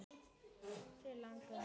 Þannig lagað.